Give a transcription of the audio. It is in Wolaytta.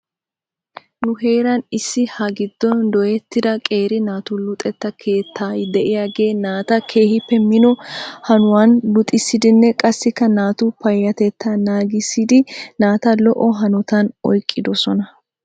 Nu heera issi ha giddon dooyetta qeeri naatu luxetta keetta diyaagee naata keehippe mino hanoyan luxisiiddinne qassikka naatu payyatetetaa naagiisiiddi naata lo'o hanotan oyqqidosona.